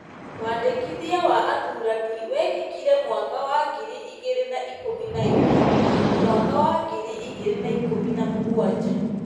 wandĩkithia wa athuurania wekekire mwaka wa ngiri igĩrĩ na ikũmi na inya na mwaka wa ngiri igĩrĩ na ikũmi na mũgwanja .